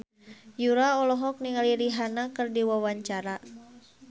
Yura olohok ningali Rihanna keur diwawancara